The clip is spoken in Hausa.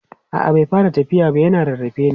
a'a bai fara tafiya na yana rarrafe ne